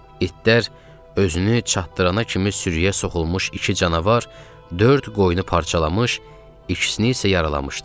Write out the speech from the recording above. İtlər özünü çatdırana kimi sürüyə soxulmuş iki canavar dörd qoyunu parçalamış, ikisini isə yaralamışdı.